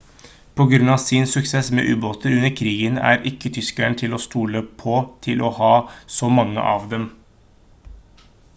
på grunn av sin suksess med ubåter under krigen er ikke tyskerne til å stole på til å ha så mange av dem